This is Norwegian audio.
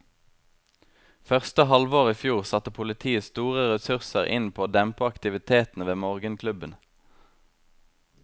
Første halvår i fjor satte politiet store ressurser inn på å dempe aktivitetene ved morgenklubbene.